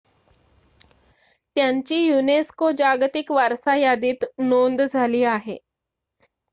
त्यांची unesco जागतिक वारसा यादीत नोंद झाली आहे